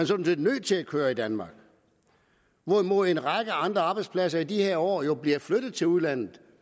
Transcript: sådan set nødt til at køre i danmark hvorimod en række andre arbejdspladser i de her år jo bliver flyttet til udlandet